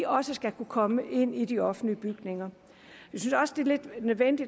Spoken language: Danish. også skal kunne komme ind i de offentlige bygninger